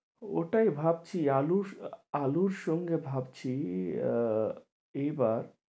ওটাই ভাবছি আলুর আলুর সঙ্গে ভাবছি আহ এইবার